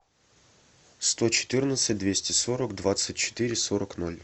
сто четырнадцать двести сорок двадцать четыре сорок ноль